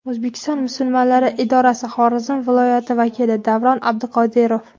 O‘zbekiston musulmonlari idorasi Xorazm viloyati vakili Davron Abduqodirov.